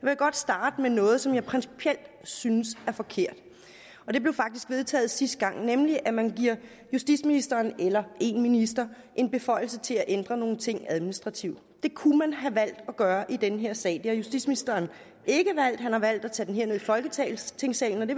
jeg godt starte med noget som jeg principielt synes er forkert det blev faktisk vedtaget sidste gang nemlig at man giver justitsministeren eller en minister en beføjelse til at ændre nogle ting administrativt det kunne man have valgt at gøre i den her sag det har justitsministeren ikke valgt han har valgt at tage den ned i folketingssalen og det